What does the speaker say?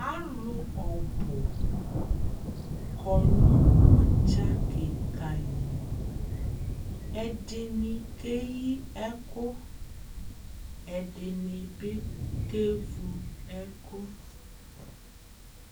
Alʋ ɔbʋ kɔnʋ ʋdza kɩka lli, ɛdɩnɩ keyi ɛkʋ, ɛdɩnɩ bɩ ke vʋ ɛkʋ